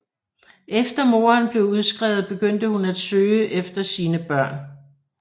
Efter moderen blev udskrevet begyndte hun at søge efter sine børn